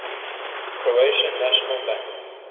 croatian national bank